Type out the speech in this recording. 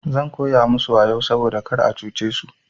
Zan koya musu wayau saboda kar a cuce su.